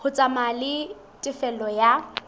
ho tsamaya le tefello ya